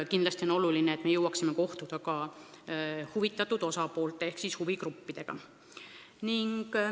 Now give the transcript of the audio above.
Kindlasti on oluline, et me jõuaksime kohtuda huvitatud osapoolte ehk siis huvigruppidega.